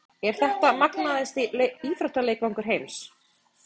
Er þetta magnaðasti íþróttaleikvangur heims?